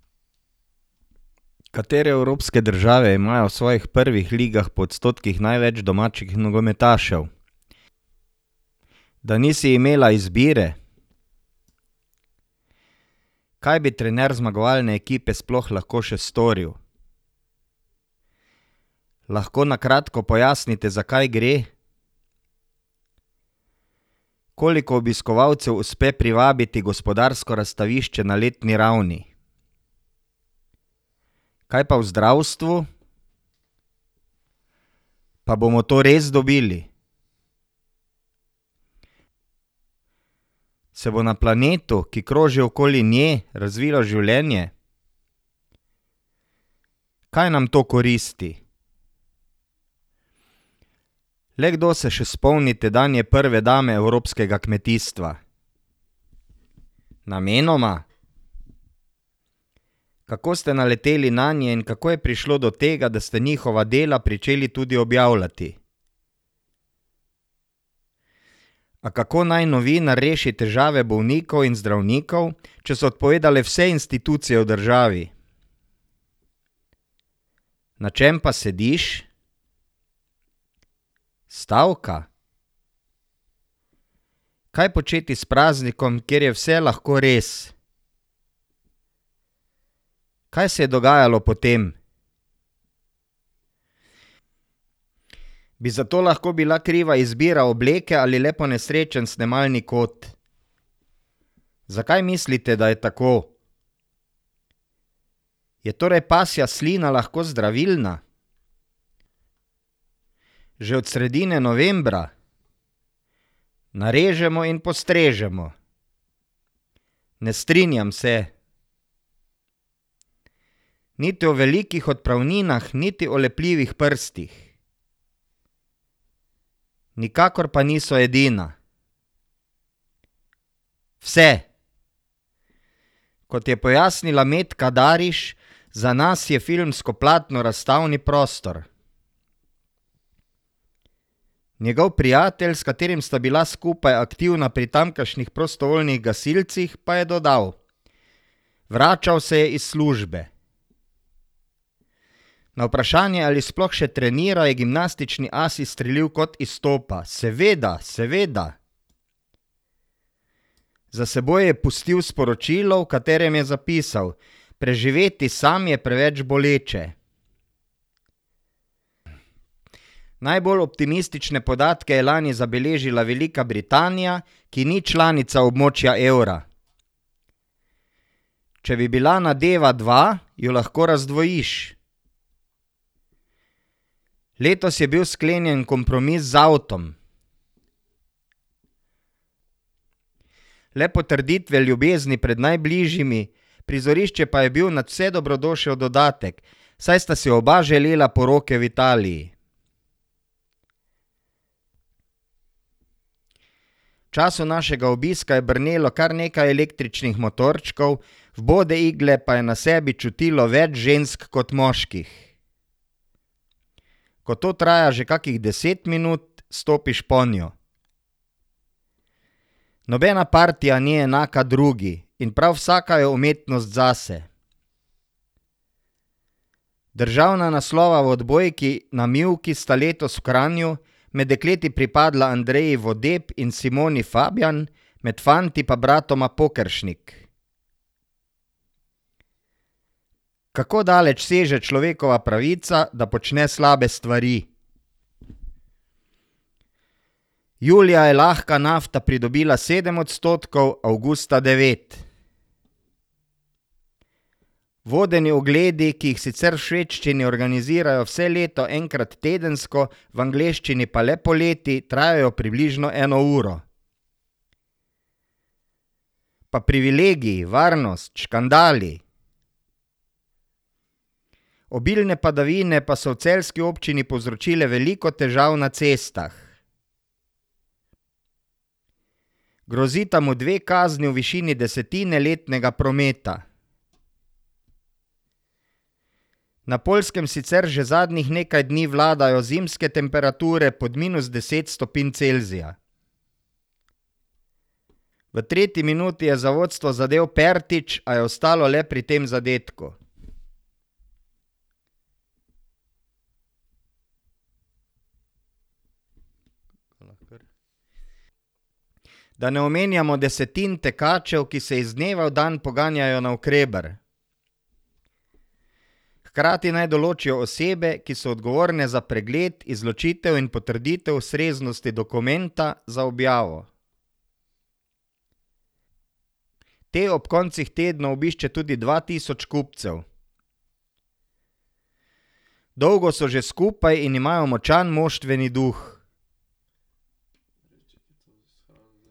Katere evropske države imajo v svojih prvih ligah po odstotkih največ domačih nogometašev?